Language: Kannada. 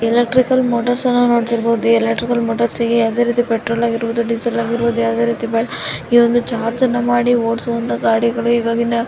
ಎಲೆಕ್ಟ್ರಿಕಲ್ ಮೋಟಾರ್ಸ್ ಅನ್ನು ನೋಡ್ತಾ ಇರಬಹುದು ಎಲೆಕ್ಟ್ರಿಕಲ್ ಮೋಟಾರ್ಸಗೆ ಯಾವುದೇ ರೀತಿ ಪೆಟ್ರೋಲ್ ಆಗಿರಬಹುದು ಡೀಸೆಲ್ ಆಗಿರಬಹುದು ಯಾವುದೇ ರೀತಿ ಇದೊಂದು ಚಾರ್ಜನ್ನು ಮಾಡಿ ಓಡಿಸುವಂತಹ ಗಾಡಿಗಳು ಇವಾಗಿನ --